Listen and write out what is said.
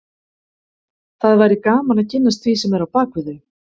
Það væri gaman að kynnast því sem er á bak við þau